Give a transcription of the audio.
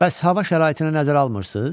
Bəs hava şəraitini nəzərə almırsınız?